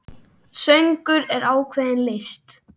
Söngur er ákveðin list.